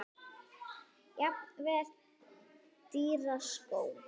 Jafnvel dýra skó?